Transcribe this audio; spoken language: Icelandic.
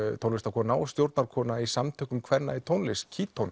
tónlistarkona og í samtökum kvenna í tónlist